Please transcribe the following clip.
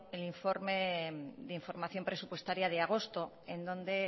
el informe de información presupuestaria de agosto en donde